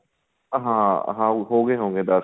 ਹਾਂ ਹਾਂ ਹੋਗੇ ਹੋਗੇ ਦੱਸ